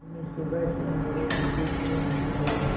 बिन्नी सुबह से मेरे पीछे क्यों घूम रहे हो